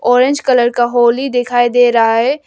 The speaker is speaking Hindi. ऑरेंज कलर का होली दिखाई दे रहा है।